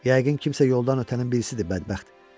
Yəqin kimsə yoldan ötənin birisidir bədbəxt.